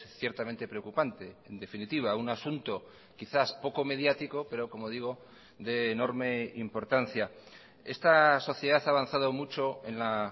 ciertamente preocupante en definitiva un asunto quizás poco mediático pero como digo de enorme importancia esta sociedad ha avanzado mucho en la